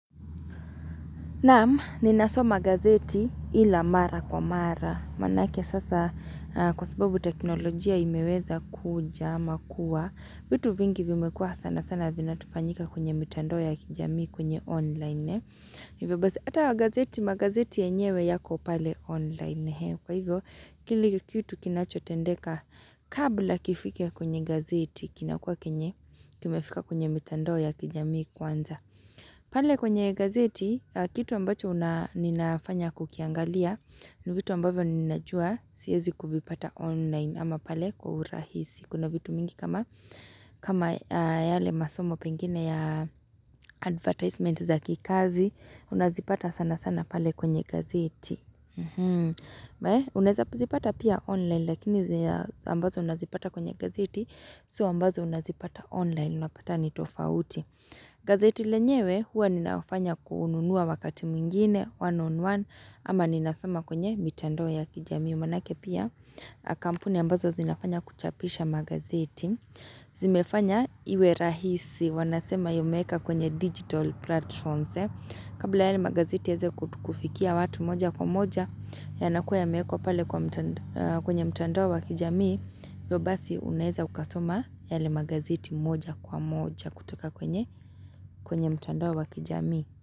Naam, ninasoma gazeti ila mara kwa mara. Manake sasa kwa sababu teknolojia imeweza kuja ama kuwa. Vitu vingi vimekuwa sana sana vinatufanyika kwenye mitandao ya kijamii kwenye online. Hivyo basi ata wa gazeti, magazeti yenyewe yako pale online. Kwa hivyo, kile kitu kinachotendeka kabla kifika kwenye gazeti, kinakuwa kenye kimefika kwenye mitandao ya kijamii kwanza. Pale kwenye gazeti, kitu ambacho ninafanya kukiangalia ni vitu ambavyo ninajua siwezi kuvipata online ama pale kwa urahisi. Kuna vitu mingi kama yale masomo pengine ya advertisement za kikazi, unazipata sana sana pale kwenye gazeti. Unaweza zipata pia online lakini ambazo unazipata kwenye gazeti, izo ambazo unazipata online, unapata ni tofauti. Gazeti lenyewe huwa ninafanya kununua wakati mwingine one on one ama ninasoma kwenye mitandoa ya kijamii. Mwanake pia kampuni ambazo zinafanya kuchapisha magazeti. Zimefanya iwe rahisi wanasema yameeka kwenye digital platforms. Kabla yale magazeti yaweze kufikia watu moja kwa moja yanakuwa yamewekwa pale kwenye mitandoa wa kijamii. Hivo basi unaweza ukasoma yale magazeti moja kwa moja kutoka kwenye mtandao wa kijamii.